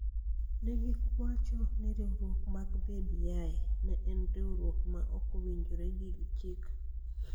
Ne giwacho ni riwruok mar BBI ne en riwruok ma ok owinjore gi chik.